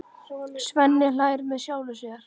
Svenni hlær með sjálfum sér.